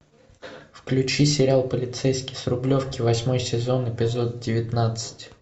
включи сериал полицейский с рублевки восьмой сезон эпизод девятнадцать